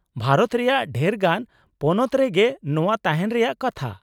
-ᱵᱷᱟᱨᱚᱛ ᱨᱮᱭᱟᱜ ᱰᱷᱮᱨ ᱜᱟᱱ ᱯᱚᱱᱚᱛ ᱨᱮᱜᱮ ᱱᱚᱶᱟ ᱛᱟᱦᱮᱱ ᱨᱮᱭᱟᱜ ᱠᱟᱛᱷᱟ ᱾